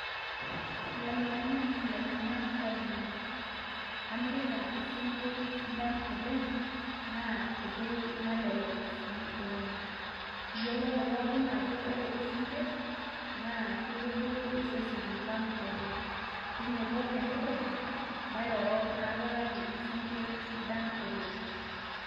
Ilainyang'ak ilainyang'ak lainei, amirita isinkirr sidan oleng',na tebei nalelek si oleng'. Iyiololo pookin ajo ore isinkirr, na kitubulu iseseni lang' oleng'. Tinyiku enewueji, mairoro naapikaki isinkirr sidan oleng'.